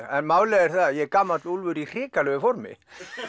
en málið er að ég er gamall úlfur í hrikalegu formi